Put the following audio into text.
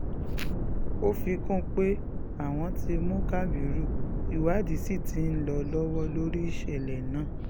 ó fi kún un pé àwọn ti mú kábírù ìwádìí sí ti ń lọ lọ́wọ́ lórí ìṣẹ̀lẹ̀ náà